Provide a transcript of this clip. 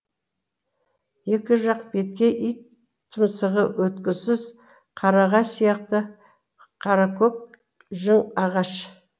екі жақ беткей ит тұмсығы өткісіз қарағай сияқты қаракөк жың ағаш